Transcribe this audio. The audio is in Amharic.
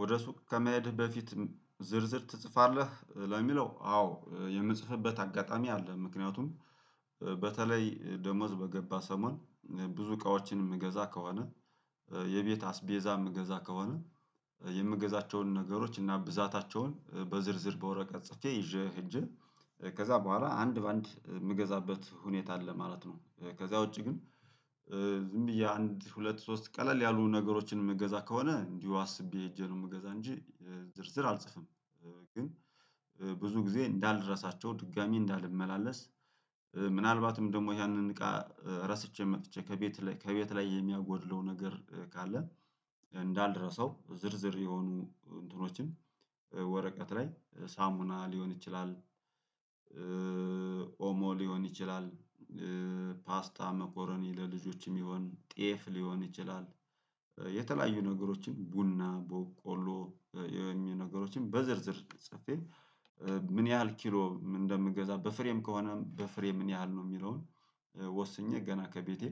ወደ ሱቅ ከመሄድህ በፊት ዝርዝር ትጽፋለህ ለሚለው አዎ የምጽፍበት አጋጣሚ አለ ምክንያቱም በተለይ ደመወዝ በገባ ሰሞን ብዙ እቃዎችን የምገዛ የቤት አስቤዛ የምገዛ ከሆነ የምገዛቸውን ነገሮች እና ብዛታቸውን በዝርዝር በወረቀት ጽፌ ይዤ ሄጄ ከዛ በኋላ አንድ በአንድ የምገዛበት ሁኔታ አለ ማለት ነው። ከዛ ውጪ ግን ዝም ብዬ አንድ ሁለት ሶስት ቀለል ያሉ ነገሮችን የምገዛ ከሆነ እንዲሁ አስቤ እጄ ነው የምገዛ እንጂ ዝርዝር አልጽፍም። ግን ብዙ ጊዜ እንዳልረሳቸው ድጋሚ እንዳልመላለስ ምናልባትም ደግሞ ያንን እቃ ረስቼ መጥቼ ከቤት ላይ ከቤት ላይ የሚያጎድለው ነገር ካለ እንዳልደረሰው ዝርዝር የሆኑ እንትኖችን ወረቀት ላይ ሳሙና ሊሆን ይችላል። ኦሞ ሊሆን ይችላል። ፓስታ መኮረኒ ለልጆችም የሚሆን ጤፍ ሊሆን ይችላል። የተለያዩ ነገሮችን ቡና ቦቆሎ ነገሮችን በዝርዝር ጽፌ ምን ያህል ኪሎ እንደምገዛ በፍሬም ከሆነ በፍሬም ምን ያህል ነው የሚለውን? ወስኜ ገና ከቤቴ